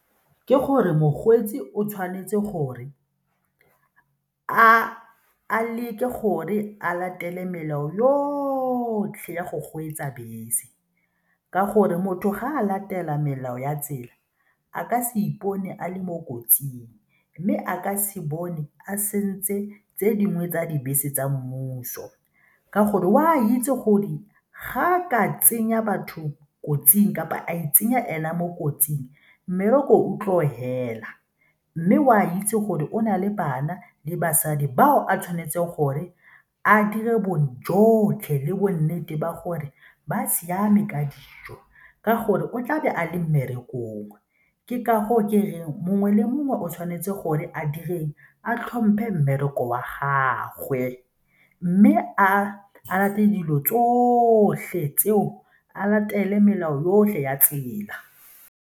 Ke gore mokgweetsi o tshwanetse gore a leke gore a latele melao yotlhe ya go kgweetsa bese ka gore motho ga a latela melao ya tsela a ka se ipone a le mo kotsing mme a ka se bone a sentse tse dingwe tsa dibese tsa mmuso ka gore o a itse gore ga a ka tsenya batho kotsing kapa a itsenya ena mo kotsing mmereko o tlo fela mme o a itse gore o na le bana le basadi bao a tshwanetse gore a dire bojotlhe le bo nnete ba gore ba siame ka dijo ka gore o tlabe a le mmerekong. Ke ka go ke reng mongwe le mongwe o tshwanetse gore a direng, a tlhomphe mmereko wa gagwe mme a latele dilo tsotlhe tseo, a latele melao yotlhe ya tsela.